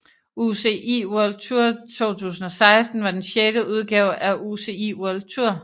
UCI World Tour 2016 var den sjette udgave af UCI World Tour